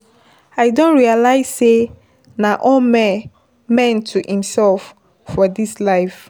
I don realize sey na all man to imsef for dis life.